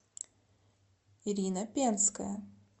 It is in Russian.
ирина пенская